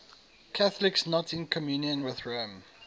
catholics not in communion with rome